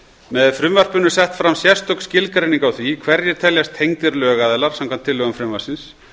með frumvarpinu er sett fram sérstök skilgreining á því hverjir teljast tengdir lögaðilar samkvæmt tillögum frumvarpsins